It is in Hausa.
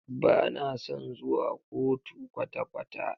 Ba na son zuwa kotu kwata kwata.